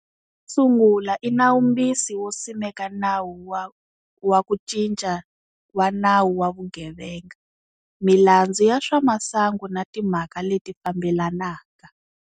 Wo sungula i nawumbisi wo simeka Nawu wa ku Cinca wa Nawu wa Vugevenga, Milandzu ya Swamasangu na timhaka leti fambelanaka.